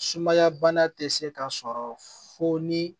Sumaya bana tɛ se ka sɔrɔ fo ni